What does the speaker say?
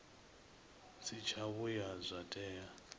si tsha vhuya zwa tea